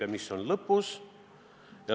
Ja mis saab lõpuks?